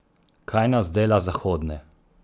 Kaj nas dela zahodne?